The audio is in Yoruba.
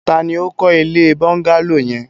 Ta ni ó kọ́ ilé bọ́ńgálò yẹn?